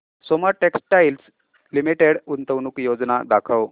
Soma textile limited गुंतवणूक योजना दाखव